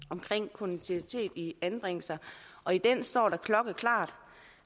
kontinuitet i anbringelser og i den står der klokkeklart